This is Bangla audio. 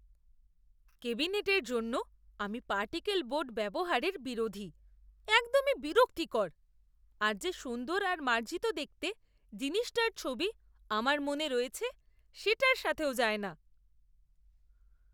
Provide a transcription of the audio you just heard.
ক্যাবিনেটের জন্য আমি পার্টিকল বোর্ড ব্যবহারের বিরোধী। একদমই বিরক্তিকর, আর যে সুন্দর আর মার্জিত দেখতে জিনিসটার ছবি আমার মনে রয়েছে সেটার সাথেও যায় না।